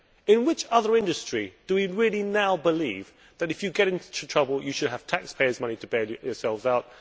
In which other industry do we really now believe that if you get into trouble you should have taxpayers' money to bail yourself out?